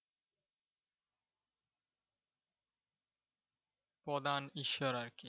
প্রধান ঈশ্বর আরকি।